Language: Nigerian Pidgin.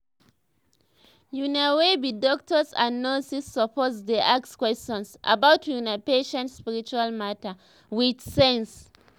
una wey be doctors and nurses suppose dey ask questions about una patients spiritual matter with sense